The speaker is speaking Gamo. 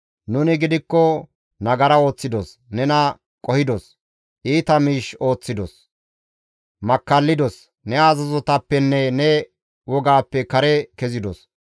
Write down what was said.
Nuni gidikko nagara ooththidos; nena qohidos; iita miish ooththidos; makkallidos; ne azazotappenne ne wogappe kare kezidos.